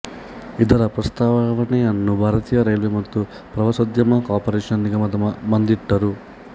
ಇದರ ಪ್ರಸ್ತಾವನೆಯನ್ನು ಭಾರತೀಯ ರೈಲ್ವೆ ಮತ್ತು ಪ್ರವಾಸೋದ್ಯಮ ಕಾರ್ಪೊರೇಶನ್ ನಿಗಮದ ಮುಂದಿಟ್ಟರು